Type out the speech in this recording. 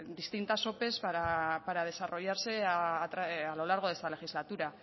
distintas ope para desarrollarse a lo largo de esta legislatura